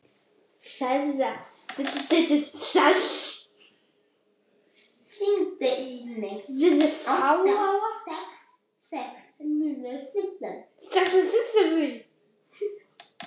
Það er gott að þú skulir geta glaðst yfir óförum mínum, sagði Sveinn.